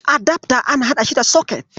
Adafta ana haɗa shi da soket.